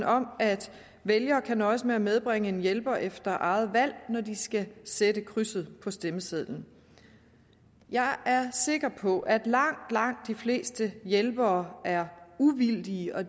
om at vælgere kan nøjes med at medbringe en hjælper efter eget valg når de skal sætte krydset på stemmesedlen jeg er sikker på at langt langt de fleste hjælpere er uvildige og